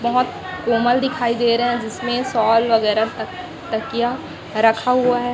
बहुत कोमल दिखाई दे रहे हैं जिसमें शॉल वगैरह त तकिया र रखा हुआ है।